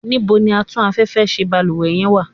níbo ni Atún afẹ́fẹ́ ṣe balúwẹ́ yen wa?